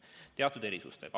Seda aga teatud erisustega.